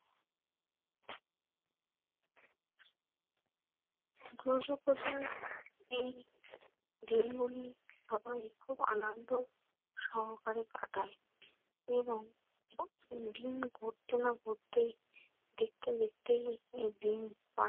দুর্যোগপ্রধান এই দিনগুলি সবাই খুব আনন্দ সহকারে কাটায় এবং দিন ঘটতে না ঘটতেই দেখতে দেখতেই এই দিন